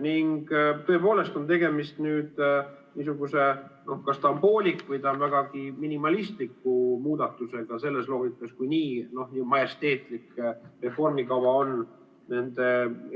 Ning tõepoolest on tegemist niisuguse kas pooliku või vägagi minimalistliku muudatusega selles loogikas, kui on olemas nii majesteetlik reformikava nende